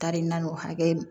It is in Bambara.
Taari naani o hakɛ